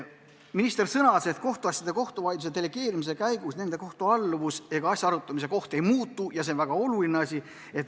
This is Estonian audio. Minister sõnas, et kohtuasjade delegeerimise käigus nende kohtualluvus ega asja arutamise koht ei muutu ja see on väga oluline.